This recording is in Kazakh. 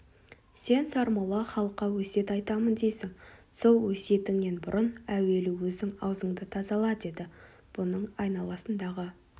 сен сармолла халыққа өсиет айтамын дейсің сол өсиетіңнен бұрын әуелі өзің аузыңды тазала деді бұның айналасындағы